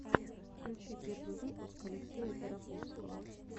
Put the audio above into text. включи первый выпуск алексея тараповского